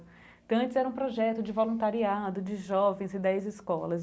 Então antes era um projeto de voluntariado de jovens e dez escolas.